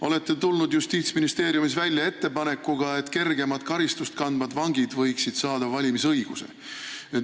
Olete tulnud Justiitsministeeriumis välja ettepanekuga, et kergemat karistust kandvad vangid võiksid saada valimisõiguse.